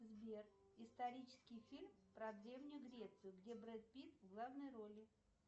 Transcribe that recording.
сбер исторический фильм про древнюю грецию где брэд питт в главной роли